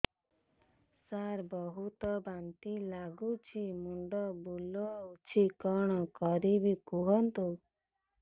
ସାର ବହୁତ ବାନ୍ତି ଲାଗୁଛି ମୁଣ୍ଡ ବୁଲୋଉଛି କଣ କରିବି କୁହନ୍ତୁ